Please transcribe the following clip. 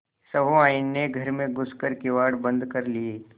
सहुआइन ने घर में घुस कर किवाड़ बंद कर लिये